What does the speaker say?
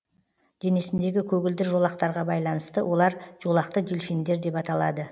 денесіндегі көгілдір жолақтарға байланысты олар жолақты дельфиндер деп аталады